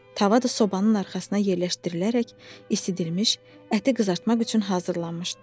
Tava da sobanın arxasına yerləşdirilərək isidilmiş, əti qızartmaq üçün hazırlanmışdı.